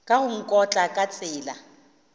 ka go nkotla ka tsela